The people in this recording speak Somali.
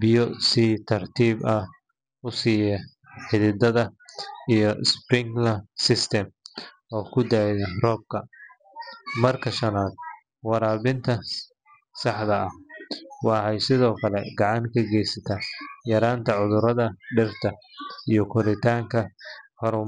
biyo si tartiib ah u siisa xididada, iyo sprinkler systems oo ku dayda roobka. Marka shanaad, waraabinta saxda ah waxay sidoo kale gacan ka geysataa yaraynta cudurrada dhirta iyo koritaanka haramaha.